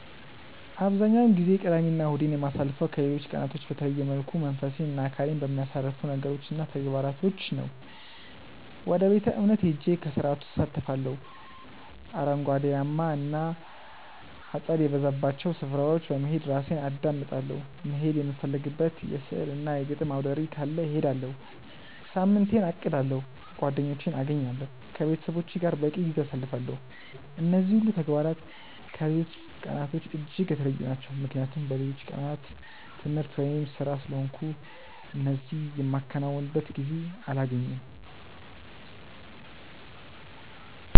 አብዛኛውን ጊዜ ቅዳሜ እና እሁዴን የማሳልፈው ከሌሎች ቀናቶች በተለየ መልኩ መንፈሴን እና አካሌን በሚያሳርፉ ነገሮች እና ተግባራቶች ነው። ወደ ቤተ-እምነት ሄጄ ከስርዓቱ እሳተፋለሁ፤ አረንጓዴያማ እና አጸድ የበዛባቸው ስፍራዎች በመሄድ ራሴን አዳምጣለሁ፤ መሄድ የምፈልግበት የሥዕል እና የግጥም አውደርዕይ ካለ እሄዳለሁ፤ ሳምንቴን አቅዳለሁ፤ ጓደኞቼን አገኛለሁ፤ ከቤተሰቦቼ ጋር በቂ ጊዜ አሳልፋለሁ። እነዚህ ሁሉ ተግባራት ከሌሎች ቀናቶች እጅግ የተለዩ ናቸው ምክንያቱም በሌሎቹ ቀናት ትምህርት ወይም ስራ ስለሆንኩ እነዚህ የማከናውንበት ጊዜ አላገኝም።